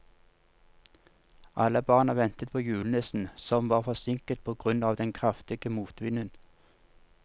Alle barna ventet på julenissen, som var forsinket på grunn av den kraftige motvinden.